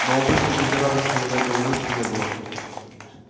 но обычной жизнерадостности в этой улыбке не было